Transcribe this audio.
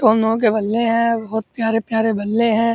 और नो के बल्ले है। बहोत प्यारे-प्यारे बल्ले हैं।